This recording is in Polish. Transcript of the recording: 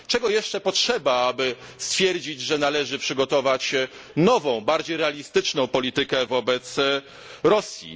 Czego jeszcze potrzeba, aby stwierdzić, że należy przygotować nową, bardziej realistyczną politykę wobec Rosji?